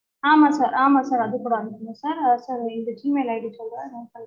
ஆமா sir ஆமா sir அது கூட அனுப்புங்க sir ஆஹ் sir இந்த g mail id சொல்றேன் note பண்ணிக்கோங்க